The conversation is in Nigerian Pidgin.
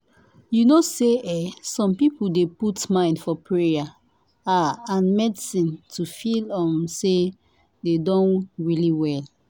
you know say eeh some people dey put mind for payer ah and medicine to feel um say dem don really well.